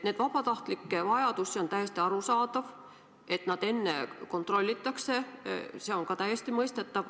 See vabatahtlike vajadus on täiesti arusaadav ja see, et neid enne kontrollitakse, on ka täiesti mõistetav.